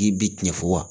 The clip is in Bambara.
I bi tiɲɛ fɔ wa